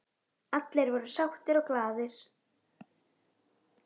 Allir voru sáttir og glaðir.